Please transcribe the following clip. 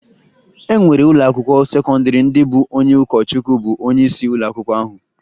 E nwere ụlọakwụkwọ sekọndịrị ndị bụ onye ụkọchukwu bụ onyeisi ụlọakwụkwọ ahụ